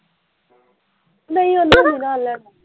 ਨਹੀਂ ਓਹਨੂੰ ਨੀ ਨਾਲ਼ ਲੈਣ